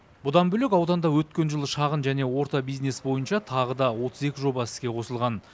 бұдан бөлек ауданда өткен жылы шағын және орта бизнес бойынша тағы да отыз екі жоба іске қосылған